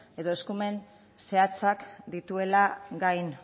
edo eskumen zehatzak dituela gai